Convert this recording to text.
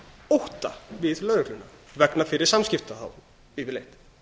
ótta við lögregluna vegna fyrri samskipta þá yfirleitt